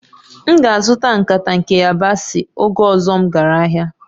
M ga-azụta nkata nke yabasị oge ọzọ m gara ahịa